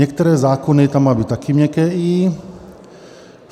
Některé zákony - tam má být taky měkké i.